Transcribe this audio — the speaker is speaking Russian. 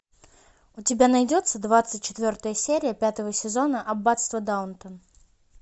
у тебя найдется двадцать четвертая серия пятого сезона аббатство даунтон